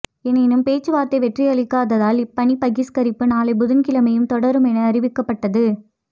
எனினும் பேச்சுவார்த்தை வெற்றியளிக்காததால் இப்பணி பகிஸ்கரிப்பு நாளை புதன்கிழமையும் தொடரும் என அறிவிக்கப்பட்டது